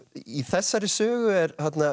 í þessari sögu er